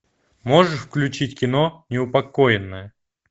можешь включить кино неупокоенная